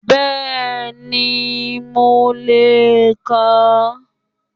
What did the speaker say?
Bẹ́ẹ̀ni, mo lè kà á